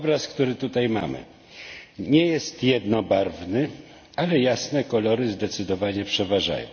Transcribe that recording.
Obraz, który tutaj mamy, nie jest jednobarwny, ale jasne kolory zdecydowanie przeważają.